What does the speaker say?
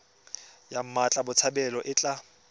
ya mmatla botshabelo e tla